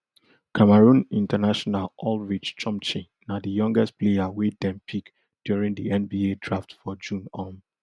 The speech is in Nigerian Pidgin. cameroon international ulrich chomche na di youngest player wey dem pick during di nba draft for june um